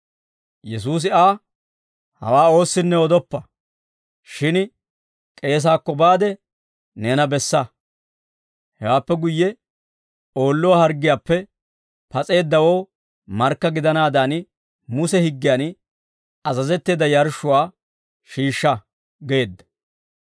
Yesuusi Aa, «Hawaa oossinne odoppa. Shin k'eesaakko baade neena bessa. Hewaappe guyye oolluwaa harggiyaappe pas'eeddawoo markka gidanaadan Muse higgiyan azazetteedda yarshshuwaa shiishsha» geedda.